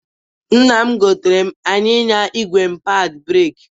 Nna m goteere anyịnya igwe m padị breeki.